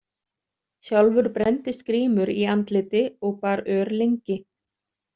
Sjálfur brenndist Grímur í andliti og bar ör lengi.